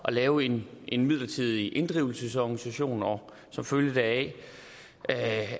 at lave en en midlertidig inddrivelsesorganisation og som følge deraf